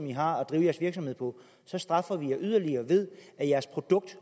i har at drive jeres virksomhed på straffer vi jer yderligere ved at jeres produkt